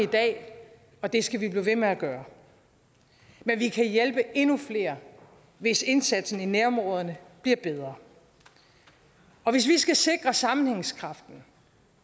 og det skal vi blive ved med at gøre men vi kan hjælpe endnu flere hvis indsatsen i nærområderne bliver bedre og hvis vi skal sikre sammenhængskraften